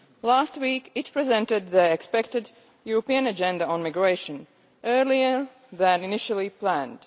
Last week, it presented the expected European Agenda on Migration, earlier than initially planned.